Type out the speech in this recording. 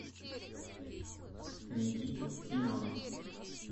никита семенов